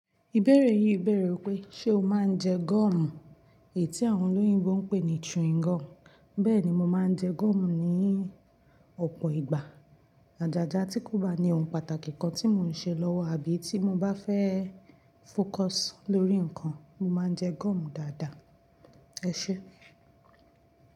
Ìbéèrè yìí béèrè wípé, ṣe o máa ń jẹ goọ̀mù? Tí àwọn olóyìnbo ń pè ní chewing gum. Bẹ́ẹ̀ni mo máa ń jẹ goọ̀mù ní ọ̀pọ̀ ìgbà. Àjàjà tí kò bá ní ohun pàtàkì kan tí mò ń ṣe lọ́wọ́ àbí tí mo bá fẹ́ fókọs lórí nǹkan, mo máa ń jẹ goọ̀mù dáadáa. Ẹ ṣé.